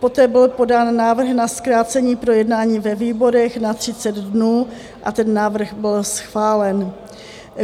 Poté byl podán návrh na zkrácení projednání ve výborech na 30 dnů a ten návrh byl schválen.